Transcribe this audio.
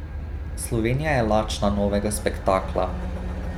Slovenija je lačna novega spektakla.